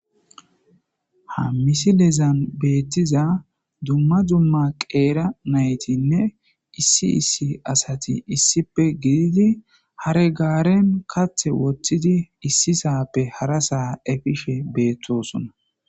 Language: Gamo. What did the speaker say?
Ha missilezan bettiza duma duma qera nayitinne issi issi asati issippe gididi hare garen kaththi woththidi issisappe harasa eppishshe bettosona.